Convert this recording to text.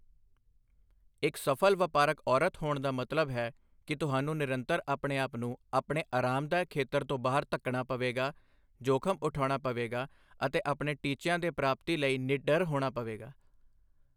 ਇੱਕ ਸਫਲ ਵਪਾਰਕ ਔਰਤ ਹੋਣ ਦਾ ਮਤਲਬ ਹੈ ਕਿ ਤੁਹਾਨੂੰ ਨਿਰੰਤਰ ਆਪਣੇ ਆਪ ਨੂੰ ਆਪਣੇ ਆਰਾਮਦਾਇਕ ਖੇਤਰ ਤੋਂ ਬਾਹਰ ਧੱਕਣਾ ਪਵੇਗਾ, ਜੋਖਮ ਉਠਾਉਣਾ ਪਵੇਗਾ ਅਤੇ ਆਪਣੇ ਟੀਚਿਆਂ ਦੀ ਪ੍ਰਾਪਤੀ ਲਈ ਨਿਡਰ ਹੋਣਾ ਪਵੇਗਾ।